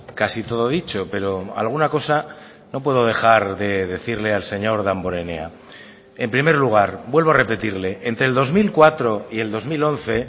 casi todo dicho pero alguna cosa no puedo dejar de decirle al señor damborenea en primer lugar vuelvo a repetirle entre el dos mil cuatro y el dos mil once